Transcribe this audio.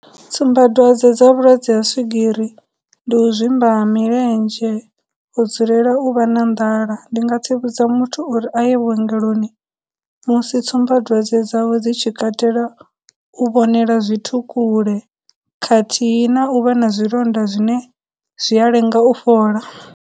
Tsumbadwadze dza vhulwadze ha swigiri ndi u zwimba ha milenzhe, u dzulela u vha na nḓala. Ndi nga tsivhudza muthu uri a ye vhuongeloni musi tsumbadzwadze dzawe dzi tshi katela u vhonela zwithu kule, khathihi na u vha na zwilonda zwine zwi a lenga u fhola.